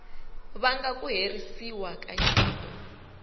vanga ku herisiwa ka nyiko